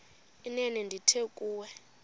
inene ndithi kuwe